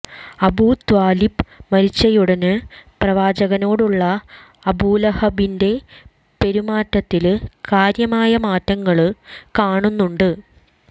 അബൂത്വാലിബ് മരിച്ചയുടന് പ്രവാചകനോടുള്ള അബൂലഹബിന്റെ പെരുമാറ്റത്തില് കാര്യമായ മാറ്റങ്ങള് കാണുന്നുണ്ട്